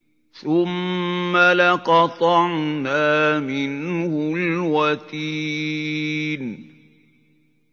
ثُمَّ لَقَطَعْنَا مِنْهُ الْوَتِينَ